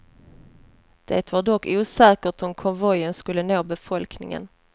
Det var dock osäkert om konvojen skulle nå befolkningen.